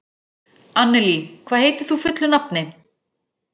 Annelí, hvað heitir þú fullu nafni?